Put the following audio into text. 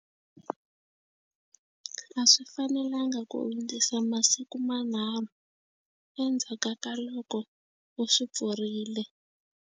A swi fanelanga ku hundzisa masiku manharhu endzhaku ka loko u swi pfurile.